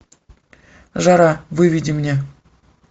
жара выведи мне